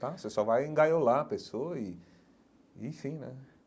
Tá Você só vai engaiolar a pessoa e e fim né.